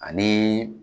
Ani